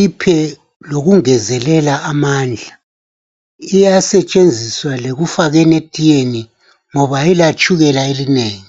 iphe lokungezelela amandla iyasetshenziswa lekufakeni etiyeni ngoba ayila tshukela elinengi.